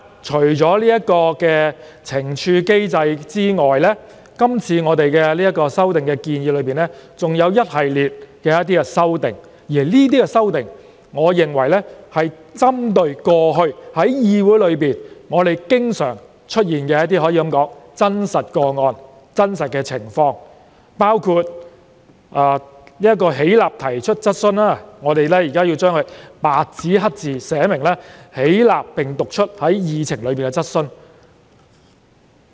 除懲處機制外，是次修訂還提出了一系列修訂建議，我認為皆是針對過去議會經常出現的真實情況，包括廢除"起立提出質詢"，白紙黑字寫明"起立並讀出載於議程的質詢"。